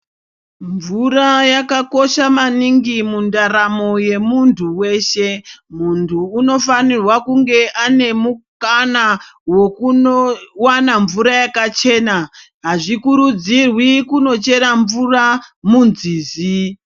Mvira kakakosha maningi mundaramo yemuntu weshe . Muntu unofane kunge ane mukana wokunowana mvura yakachena. Hazvikurudzirwi kunochera mvura munzizi.